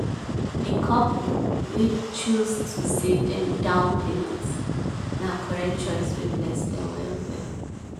di couple wey choose to save dem down payment na correct choice wey bless dem well well.